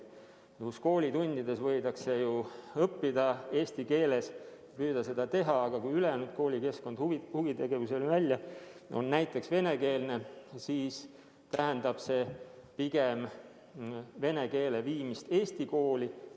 Koolitundides võidakse ju õppida eesti keeles, püüda seda teha, aga kui ülejäänud koolikeskkond kuni huvitegevuseni välja on näiteks venekeelne, siis tähendab see pigem vene keele viimist eesti kooli.